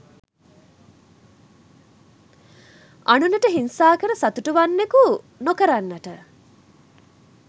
අනුනට හිංසා කර සතුටු වන්නකු නොකරන්නට